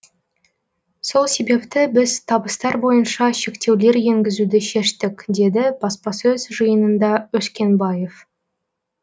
сол себепті біз табыстар бойынша шектеулер енгізуді шештік деді баспасөз жиынында өскенбаев